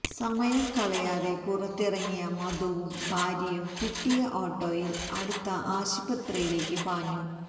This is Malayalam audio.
സമയം കളയാതെ പുറത്തിറങ്ങിയ മധുവും ഭാര്യയും കിട്ടിയ ഓട്ടോയില് അടുത്ത ആശുപത്രിയിലേക്ക് പാഞ്ഞു